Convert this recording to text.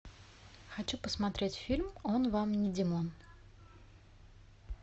хочу посмотреть фильм он вам не димон